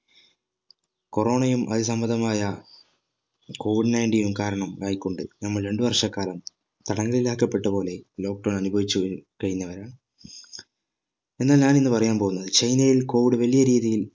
corona യും അത് സംബന്ധമായ COVID-19 ഉം കാരണം ഇതായിക്കൊണ്ട് നമ്മൾ രണ്ട് വർഷക്കാലം തടങ്കലിൽ ആക്കപെട്ട പോലെ lockdown അനുഭവിച്ചു കഴിഞ്ഞവരാണ് എന്നാൽ ഞാൻ ഇന്ന് പറയാൻ പോവുന്നത് ചൈനയിൽ COVID വലിയ രീതിയിൽ